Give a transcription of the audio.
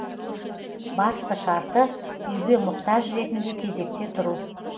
басты шарты үйге мұқтаж ретінде кезекте тұру